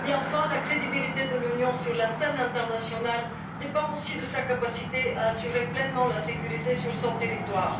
Et enfin, la crédibilité de l'Union sur la scène internationale dépend aussi de sa capacité à assurer pleinement la sécurité sur son territoire.